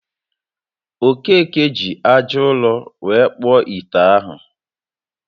Okeke ji aja ụrọ were kpụọ ite ahụ